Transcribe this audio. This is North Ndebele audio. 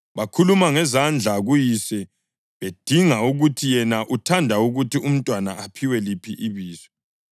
Bakhuluma ngezandla kuyise bedinga ukuthi yena uthanda ukuthi umntwana aphiwe liphi ibizo.